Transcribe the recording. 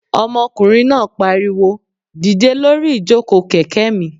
Ọmọkùnrin náà pariwo "dìde lórí ìjòkó kẹ̀kẹ́ mi!"